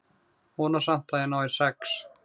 Vona samt að ég nái sex.